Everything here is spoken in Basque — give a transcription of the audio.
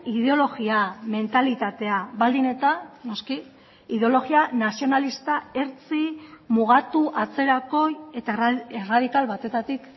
ideologia mentalitatea baldin eta noski ideologia nazionalista ertzi mugatu atzerakoi eta erradikal batetatik